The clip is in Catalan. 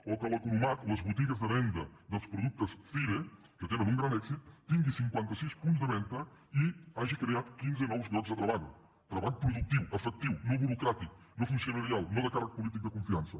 o que l’economat les botigues de venda dels productes cire que tenen un gran èxit tingui cinquantasis punts de venda i hagi creat quinze nous llocs de treball treball productiu efectiu no burocràtic no funcionarial no de càrrec polític de confiança